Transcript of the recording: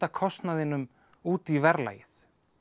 kostnaðinum út í verðlagið